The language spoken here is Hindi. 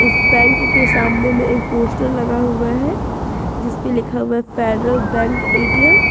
इस बैंक के सामने में एक पोस्टर लगा हुआ है जिसपे लिखा हुआ फेडरल बैंक ए_टी_एम ।